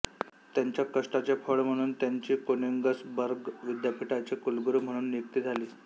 त्यांच्या कष्टाचे फळ म्हणून त्यांची कोनिंगसबर्ग विद्यापीठाचे कुलगुरू म्हणून नियुक्ती झाली